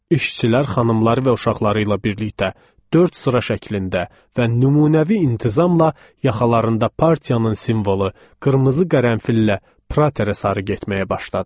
İşçilər xanımları və uşaqları ilə birlikdə dörd sıra şəklində və nümunəvi intizamla yaxalarında partiyanın simvolu, qırmızı qərənfillə Praterə sarı getməyə başladılar.